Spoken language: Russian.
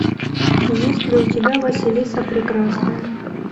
есть ли у тебя василиса прекрасная